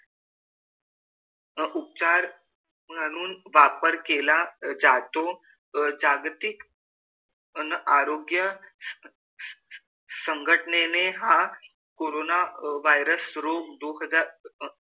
व उपचार म्हणून वापर केला जातो. जागतिक अन आरोग्य संघटनेने हा कोरोना virus रोग दो हजार,